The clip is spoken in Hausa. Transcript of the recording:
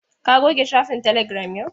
Ka goge shafin telegiram yau.